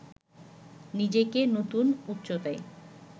নিজেকে নতুন উচ্চতায়